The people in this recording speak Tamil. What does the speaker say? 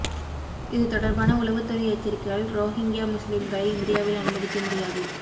இதுதொடர்பான உளவுத்துறை எச்சரிக்கையால் ரோஹிங்யா முஸ்லிம்களை இந்தியாவில் அனுமதிக்க முடியாது